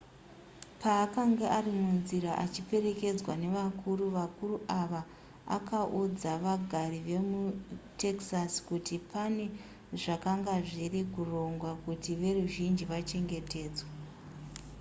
paakanga ari munzira achiperekedzwa nevakuru vakuru ava akaudza vagari vemutexas kuti pane zvakanga zviri kurongwa kuti veruzhinji vachengetedzwe